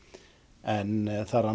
en það rann